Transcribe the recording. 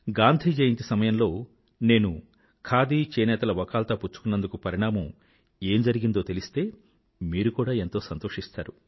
గాంధీ జయంతి సమయంలో నేను ఖాదీ చేనేతల వకాల్తా పుచ్చుకున్నందుకు పరిణామం ఏం జరిగిందో తెలిస్తే మీరు కూడా ఎంతో సంతోషిస్తారు